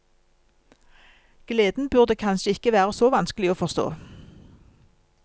Gleden burde kanskje ikke være så vanskelig å forstå.